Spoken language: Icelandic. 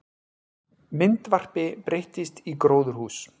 Myndvarpi breyttist í gróðurhús